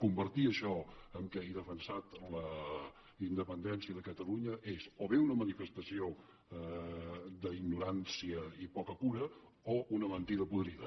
convertir això en el fet que he defensat la independència de catalunya és o bé una manifestació d’ignorància i poca cura o una mentida podrida